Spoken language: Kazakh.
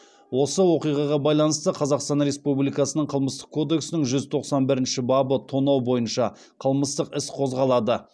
осы оқиғаға байланысты қазақстан республикасының қылмыстық кодексінің жүз тоқсан бірінші бабы тонау бойынша қылмыстық іс қозғалады